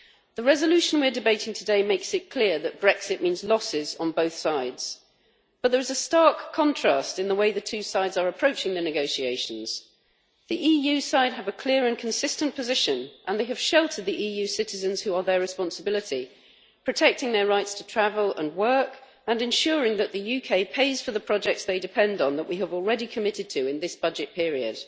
The resolution we are debating today makes it clear that Brexit means losses on both sides, but there is a stark contrast in the way the two sides are approaching the negotiations. The EU side have a clear and consistent position, and they have sheltered the EU citizens who are their responsibility, protecting their rights to travel and work and ensuring that the UK pays for the projects they depend on that we have already committed to in this budget period.